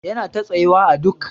Yana ta tsayuwa à dok.